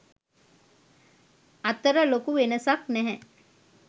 අතර ලොකු වෙනසක් නැහැ.